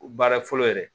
Baara fɔlɔ yɛrɛ